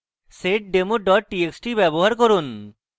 একই text file seddemo txt txt ব্যবহার করুন